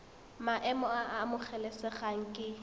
maemo a a amogelesegang ke